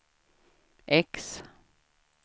X